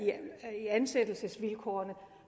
ansættelsesvilkårene